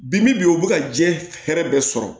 Bi bi in o bɛ ka diɲɛ hɛrɛ bɛɛ sɔrɔ